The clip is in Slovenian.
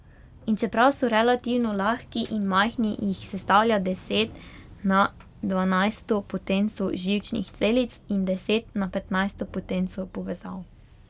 In čeprav so relativno lahki in majhni, jih sestavlja deset na dvanajsto potenco živčnih celic in deset na petnajsto potenco povezav.